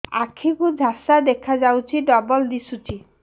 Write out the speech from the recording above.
ଆଖି କୁ ଝାପ୍ସା ଦେଖାଯାଉଛି ଡବଳ ଦିଶୁଚି